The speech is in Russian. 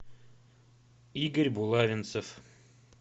игорь булавинцев